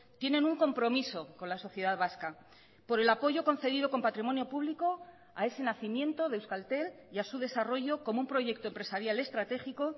tienen un compromiso con la sociedad vasca por el apoyo concedido con patrimonio público a ese nacimiento de euskaltel y a su desarrollo como un proyecto empresarial estratégico